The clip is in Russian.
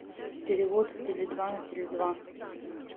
перевод с теле два на теле два